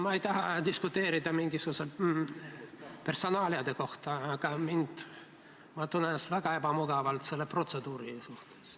Ma ei taha diskuteerida mingisuguse personaalia üle, aga ma tunnen ennast väga ebamugavalt selle protseduuri suhtes.